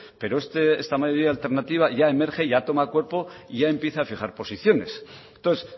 pero esta mayoría alternativa ya emerge ya toma cuerpo y ya empieza a fijar posiciones entonces